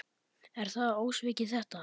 Er það ósvikið þetta?